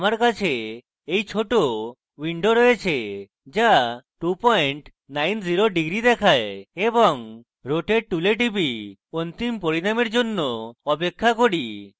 আমার কাছে এই ছোট window রয়েছে যা 290 degrees দেখায় এবং আমি rotate টুলে টিপি এবং অন্তিম পরিণামের জন্য অপেক্ষা করি